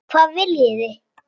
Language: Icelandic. Hvað viljið þið!